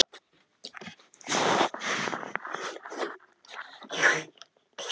En það skemmir ekki fyrir.